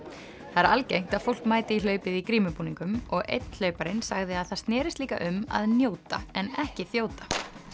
það er algengt að fólk mæti í hlaupið í grímubúningum og einn hlauparinn sagði að það snerist líka um að njóta en ekki þjóta